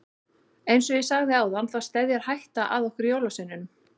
Eins og ég sagði áðan þá steðjar hætta að okkur jólasveinunum.